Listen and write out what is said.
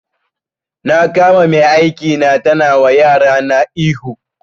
Na kama mai aiki na tana wa yarana ihu